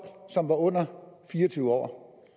som var under fire og tyve år